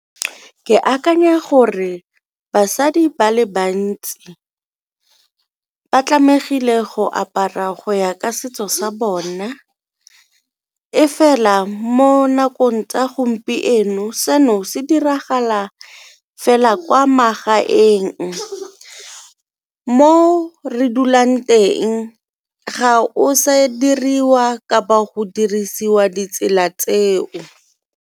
Ke akanya gore basadi ba le bantsi ba go apara go ya ka setso sa bona, e fela mo nakong tsa gompieno seno se diragala fela kwa magaeng mo re dulang teng ga o se diriwa kapa go dirisiwa ditsela tseo.